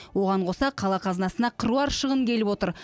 оған қоса қала қазынасына қыруар шығын келіп отыр